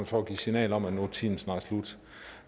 for at give signal om at nu er tiden snart slut